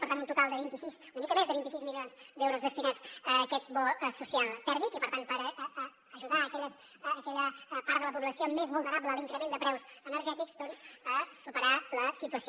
per tant un total de vint sis una mica més de vint sis milions d’euros destinats a aquest bo social tèrmic i per tant per ajudar aquella part de la població més vulnerable a l’increment de preus energètics doncs a superar la situació